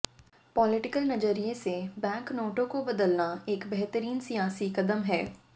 political नजरिए से bank नोटों को बदलना एक बेहतरीन सियासी कदम हैं